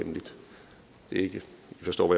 forstår